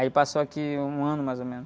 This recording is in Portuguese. Aí passou aqui um ano mais ou menos.